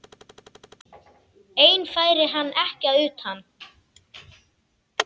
Einn færi hann ekki utan.